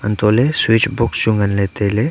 untohley switch box chu nganley tailey.